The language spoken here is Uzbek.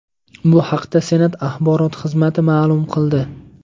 Bu haqda Senat axborot xizmati ma’lum qildi .